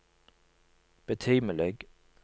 betimelig